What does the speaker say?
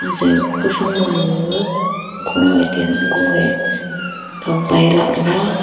anche kawphang mama ga goe ten goe thong pai lah taiga.